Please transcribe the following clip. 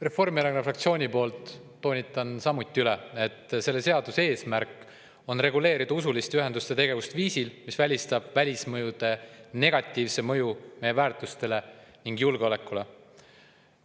Reformierakonna fraktsiooni poolt toonitan samuti üle, et selle seaduse eesmärk on reguleerida usuliste ühenduste tegevust viisil, mis välistab välismõjude negatiivse mõju meie väärtustele ning julgeolekule.